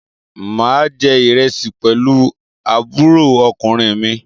Mà á jẹ ìrẹsì pẹ̀lú àbúrò ọkùnrin mi.